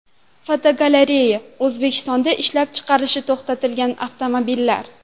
Fotogalereya: O‘zbekistonda ishlab chiqarilishi to‘xtatilgan avtomobillar.